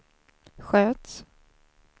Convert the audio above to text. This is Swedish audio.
sköts